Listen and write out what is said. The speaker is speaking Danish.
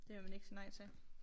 Det vil man ikke sige nej til